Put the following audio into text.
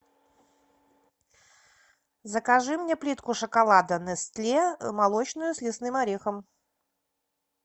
закажи мне плитку шоколада нестле молочную с лесным орехом